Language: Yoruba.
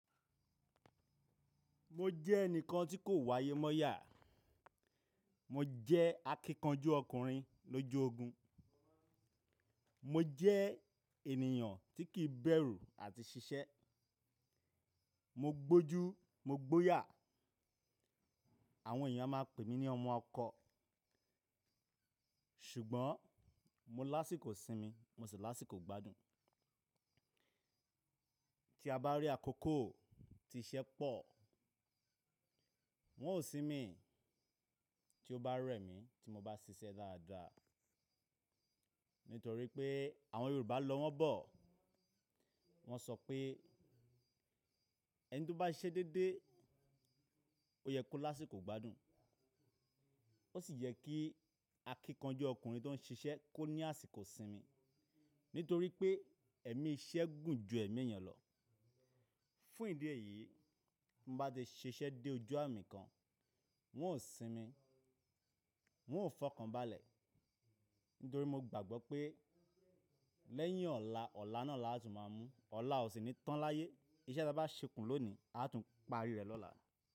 Mo jẹ́ ẹnìkan tí kò wá ayé mọ́yà. Mo jẹ́ akíkanjú ọkùnrin lójú ogun. Mo jẹ́ ènìyàn tí kìí bẹ̀rù àti ṣiṣẹ́. Mo gbójú, mo gbóyà. Àwọn èèyàn a máa pè mí ní ọmọ ọkọ. Ṣùgbọ́n mo lásìkò sinmi, mo sì lásìkọ gbádùn. Tí a bá rí àkókò tí iṣẹ́ pọ̀, wọn ò sinmi tí ó bá rẹ̀ mí tí mo bá ṣiṣẹ́ dáadáa. Nítorí pé àwọn Yorùbá lọ wọ́n bọ̀. Wọ́n sọ pé ẹni tí ó bá ṣiṣẹ́ dédé, ó yẹ kó lásìkò gbádùn. Ó sì yẹ kí akíkanjú ọkùnrin tó ń ṣiṣẹ́ kó ní àsìkò sinmi. Nítorí pé ẹ̀mí iṣẹ́ gùn ju ẹ̀mí èèyàn lọ. Fún ìdí èyí, mo bá ti ṣiṣẹ́ dé ojú àmì kan, wọn ò sinmi. Wọn ò fọkànba lẹ̀. Nítorí mo gbàgbọ́ pé lẹ́yìn ọ̀la, ọ̀la náà la á tún máa mú. Ọ̀la ò sí ní tán láyé. Iṣẹ́ tí a bá ṣekùn lónìí, a á tún parí rẹ̀ lọ́la.